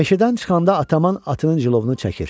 Meşədən çıxanda Ataman atının cilovunu çəkir.